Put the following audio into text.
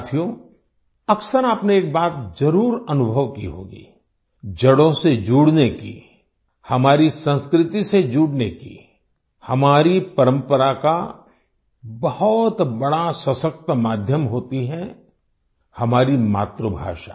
साथियो अक्सर आपने एक बात ज़रूर अनुभव की होगी जड़ों से जुड़ने की हमारी संस्कृति से जुड़ने की हमारी परम्परा का बहुत बड़ा सशक्त माध्यम होती है हमारी मातृभाषा